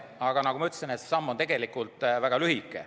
Aga nagu ma ütlesin, see samm on tegelikult väga lühike.